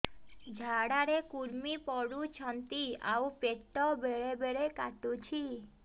ଝାଡା ରେ କୁର୍ମି ପଡୁଛନ୍ତି ଆଉ ପେଟ ବେଳେ ବେଳେ କାଟୁଛି